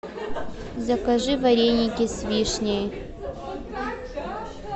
закажи вареники с вишней